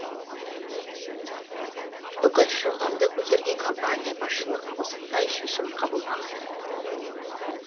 бүкіл шығынды көтерген компания басшылығы осындай шешім қабылдаған